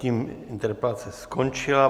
Tím interpelace skončila.